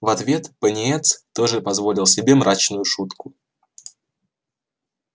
в ответ пониетс тоже позволил себе мрачную шутку